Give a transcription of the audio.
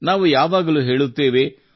ನಾವು ಯಾವಾಗಲೂ ಹೇಳುತ್ತೇವೆ